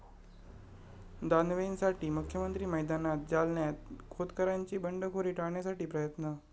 दानवेंसाठी मुख्यमंत्री मैदानात, जालन्यात खोतकरांची बंडखोरी टाळण्यासाठी प्रयत्न